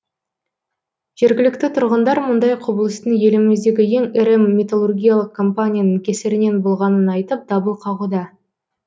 жергілікті тұрғындар мұндай құбылыстың еліміздегі ең ірі металлургиялық компанияның кесірінен болғанын айтып дабыл қағуда